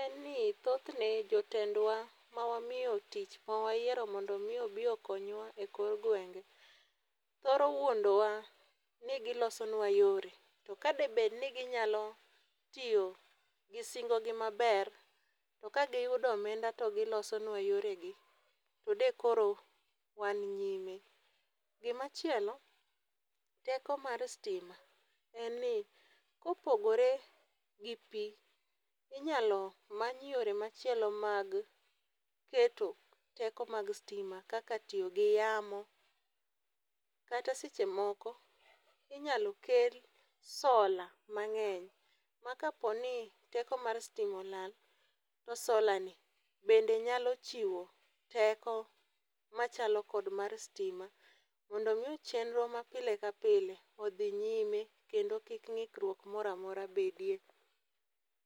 en ni thothne jotendwa mawamiyo tich mawayiero mondo omi obi okonywa e kor gwenge, thoro wuondowa ni gilosonwa yore to kadebedni ginyalo tiyo gi singogi maber, to kagiyudo omenda to gilosonwa yoregi to de koro wan nyime. Gimachielo, teko mar stima en ni kopogore gi pi, inyalo many yore machielo mag keto teko mag stima kaka tiyo gi yamo kata seche moko inyalo kel sola mang'eny ma kaponi teko mar stima olal, to solani bende nyalo chiwo teko machalo kod mar stima mondo omi chenro mapile ka pile odhi nyime kendo kik ng'ikruok moro amora bedie.